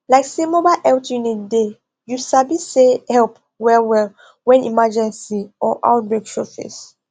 like say mobile health unit dey you sabi say help wellwell when emergency or outbreak show face